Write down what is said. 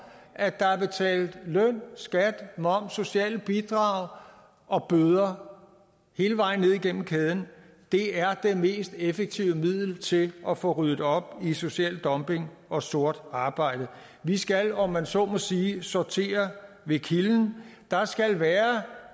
at der er betalt løn skat moms socialt bidrag og bøder hele vejen ned igennem kæden er det mest effektive middel til at få ryddet op i social dumping og sort arbejde vi skal om man så må sige sortere ved kilden der skal være